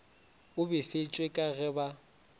o befetšwe ka ge ba